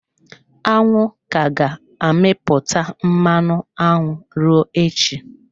Aṅụ ka ga-amịpụta mmanụ aṅụ ruo echi.